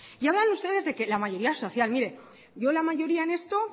y hablan ustedes de que la mayoría social mire yo la mayoría en esto